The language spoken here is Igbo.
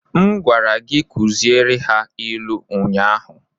M gwara gi kuziere ha ilu unyanya!